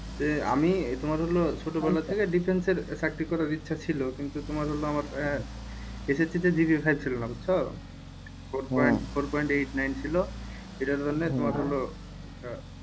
আমি তোমার হলো ছোটবেলা থেকে defence এর চাকরি করার ইচ্ছা ছিল কিন্তু তোমার হল আমার আহ SSC তে বুঝছো